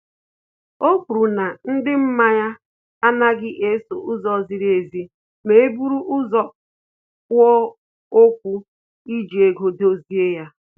O kwuru na ndị mmanye anaghị eso ụzọ ziri ezi ma e buru ụzọ kwuo okwu iji ego edozi